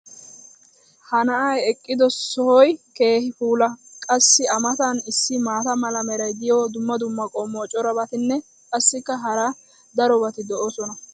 ha na"ay eqqido soshoy keehi puula! qassi a matan issi maata mala meray diyo dumma dumma qommo corabatinne qassikka hara darobatti doosona.